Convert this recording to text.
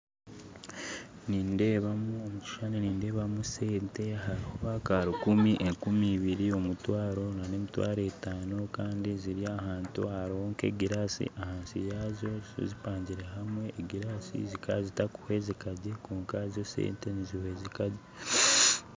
Omukishushani nindeebamu sente harimu akarukumi , enkumibiri , omutwaro nanemitwaro etaano Kandi ziri ahantu ahariho nkegirasi ahansi yaazo zipangire hamwe egiraasi zikazita kuhwezikagye kwonkazo sente nizihwezikagye